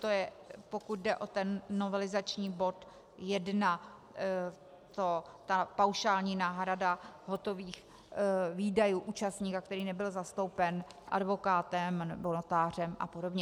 To je, pokud jde o ten novelizační bod 1, ta paušální náhrada hotových výdajů účastníka, který nebyl zastoupen advokátem nebo notářem a podobně.